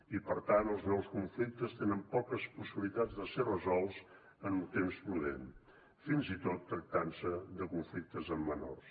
i per tant els nous conflictes tenen poques possibilitats de ser resolts en un temps prudent fins i tot si es tracta de conflictes amb menors